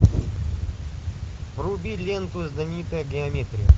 вруби ленту знаменитая геометрия